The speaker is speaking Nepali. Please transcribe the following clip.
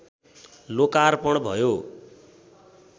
लोकार्पण भयो